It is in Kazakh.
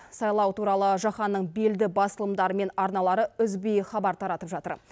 сайлау туралы жаһанның белді басылымдары мен арналары үзбей хабар таратып жатыр